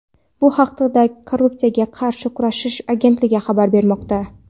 Bu haqda Korrupsiyaga qarshi kurashish agentligi xabar bermoqda.